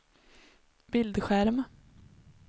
bildskärm